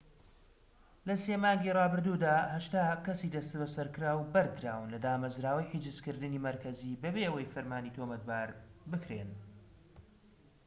لە ٣ مانگی رابردوودا، ٨٠ کەسی دەستبەسەرکراو بەردراون لە دامەزراوەی حیجزکردنی مەرکەزی بەبێ ئەوەی بە فەرمی تۆمەتبار بکرێن